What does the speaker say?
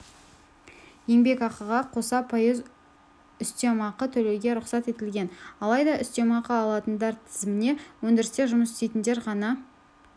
еңбекақыға қоса пайыз үстемеақы төлеуге рұқсат етілген алайда үстемеақы алатындар тізіміне өндірісте жұмыс істейтіндер ғана